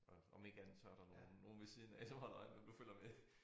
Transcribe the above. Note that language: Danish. Om om ikke andet så der nogen nogen ved siden af som holder øje med om du følger med